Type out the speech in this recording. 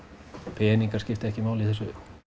peningar skipta ekki máli í þessu